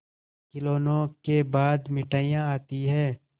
खिलौनों के बाद मिठाइयाँ आती हैं